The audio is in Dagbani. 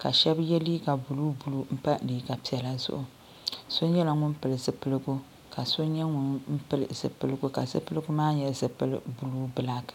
ka sheba ye liiga buluu buluu m pa liiga piɛla zuɣu so nyɛla ŋun pili zipiligu ka zipiligu maa nyɛ buluu bilaaki.